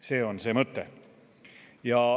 See on see mõte.